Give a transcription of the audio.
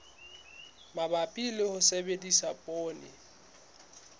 mabapi le ho sebedisa poone